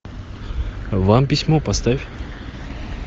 вам письмо поставь